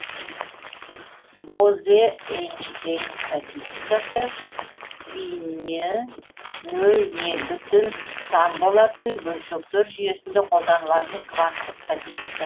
бозе эйнштейнн статистикасы спині нөл не бүтін сан болатын бөлшектер жүйесінде қолданылатын кванттық статистика